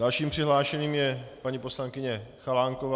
Dalším přihlášeným je paní poslankyně Chalánková.